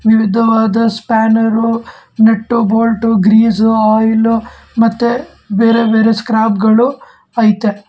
ವಿವಿಧವಾದ ಸ್ಪಾನರ್ರು nut bolt grease oil ಮತ್ತೆ ಬೇರೆ ಬೇರೆ ಸ್ಕ್ರಾಪ್ ಗಳು ಐತೆ.